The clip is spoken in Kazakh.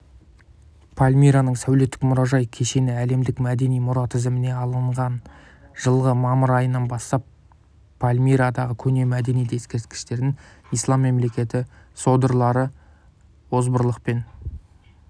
пальмираның сәулеттік мұражай кешенін әлемдік мәдени мұра тізіміне алған жылғы мамыр айынан бастап пальмирадағы көне мәдениет ескерткіштерін ислам мемлекеті содырлары озбырлықпен